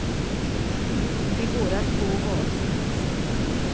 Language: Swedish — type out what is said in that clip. Det går att få var som helst.